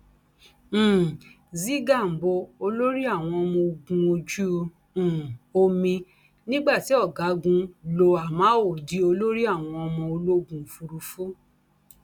um z gambo olórí àwọn ọmọ ogun ojú um omi nígbà tí ọgágun lo amao di olórí àwọn ọmọ ológun òfurufú